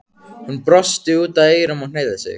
Hann brosti út að eyrum og hneigði sig.